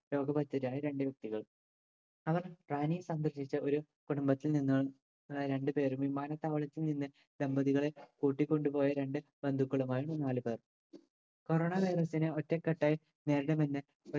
രോഗബാധിതരായ രണ്ട്‌ വ്യക്തികൾ അവർ സംബന്ധിച്ച് ഒരു കുടുംബത്തിൽ നിന്നു ഏർ രണ്ട് പേരും വിമാനത്താവളത്തിൽ നിന്ന് ദമ്പതികളെ കൂട്ടികൊണ്ടുപോയ രണ്ട് ബന്ധുക്കളുമായ് നാല് പേർ corona virus നെ ഒറ്റക്കെട്ടായി നേരിടുമെന്ന്